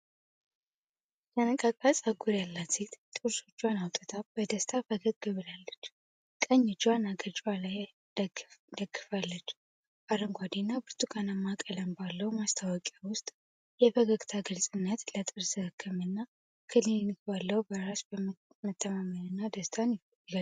የተነቃቃ ፀጉር ያላት ሴት ጥርሶቿን አውጥታ በደስታ ፈገግ ብላለች። ቀኝ እጇን አገጯ ላይ ደግፋለች። አረንጓዴ እና ብርቱካናማ ቀለም ባለው ማስታወቂያ ውስጥ የፈገግታዋ ግልጽነት ለጥርስ ሕክምና ክሊኒክ ባለው በራስ መተማመንና ደስታን ይገልጻል።